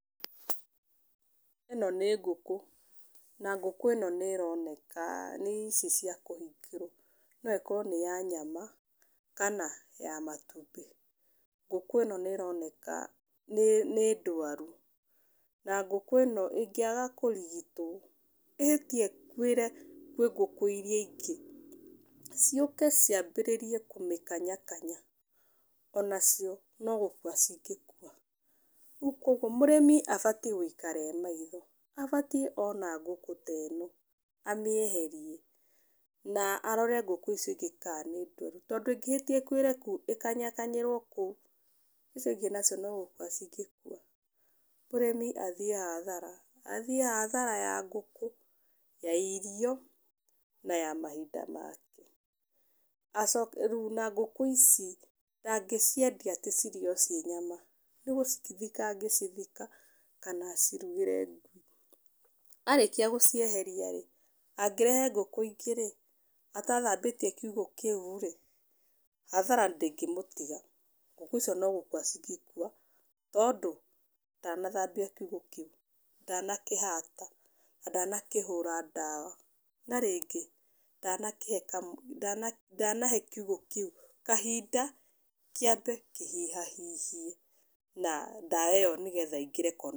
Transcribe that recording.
Ĩno nĩ ngũkũ, na ngũkũ ĩno nĩĩroneka nĩ ici cia kũhingĩrwo. No ĩkorwo nĩ ya nyama, kana ya matumbĩ. Ngũkũ ĩno nĩĩroneka nĩ ndwaru, na ngũkũ ĩno ĩngĩaga kũrigitwo ĩhĩtie ĩkuĩre kwĩ ngũkũ iria ingĩ, ciũke ciambĩrĩrie kũmĩkanyakanya onacio no gũkua cingĩkua. Rĩu kuoguo mũrĩmi abatiĩ gũikara e maitho, abatiĩ ona ngũkũ ta ĩno, amĩeherie na arore ngũkũ icio ingĩ kana nĩ ndwaru, tondũ ĩngĩhĩtia ĩkuĩre kũu, ĩkanyakanyĩrwo kũu icio ingĩ nacio no gũkua cingĩkua, mũrĩmi athiĩ hathara, athiĩ hathara ya ngũkũ, ya irio na ya mahinda make. Acoke rĩu na ngũkũ ici ndangĩciendia atĩ cirĩo ciĩ nyama, nĩgũcithika angĩcithika kana acirugĩre ngui. Arĩkia gũcieheria-rĩ, angĩrehe ngũkũ ingĩ-rĩ, atathambĩtie kiugũ kĩu-rĩ, hathara ndĩngĩmũtiga. Ngũkũ icio no gũkua cingĩkua, tondũ ndanathambia kiugũ kĩu, ndanakĩhata na ndanakĩhũra ndawa. Na, rĩngĩ ndanakĩhe ndanahe kiugũ kĩu kahinda kĩambe kĩhihahihie na ndawa ĩyo nĩgetha ĩingĩre.